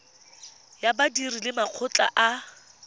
ya badiri le makgotla a